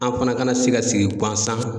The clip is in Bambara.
An fana kana se ka sigi ŋan san